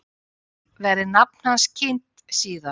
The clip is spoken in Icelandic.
Verði nafn hans kynnt síðar